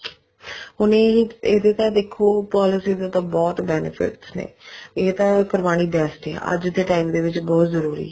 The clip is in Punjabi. ਹੁਣ ਇਹ ਇਹਦੇ ਤਾਂ ਦੇਖੋ policy ਦੇ ਤਾਂ ਬਹੁਤ benefits ਨੇ ਇਹ ਤਾਂ ਕਰਵਾਉਣੀ best ਹੈ ਅੱਜ ਦੇ time ਦੇ ਵਿੱਚ ਬਹੁਤ ਜਰੂਰੀ ਹੈ